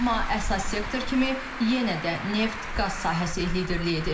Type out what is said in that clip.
Amma əsas sektor kimi yenə də neft-qaz sahəsi liderlik edir.